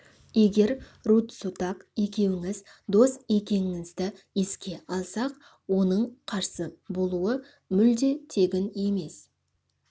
егер рудзутак екеуіңіз дос екеніңізді еске алсақ оның қарсы болуы мүлде тегін емес